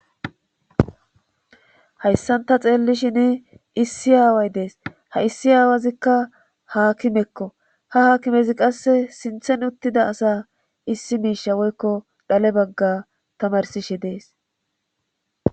Hayssan ta xeelishin issi aaway dees ha issi aawwazikka Haakimekko ha haakimezi qasse sinthan uttida issi miisha woykko dhale bagga tamarssishe dees.